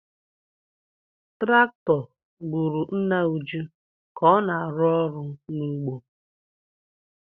Traktọ gburu nna Uju ka ọ na-arụ ọrụ n’ugbo.